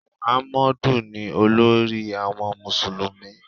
Mọ̀hámọ́dù ni olórí àwọn Mùsùlùmí.